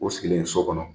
O sigilen so kɔnɔ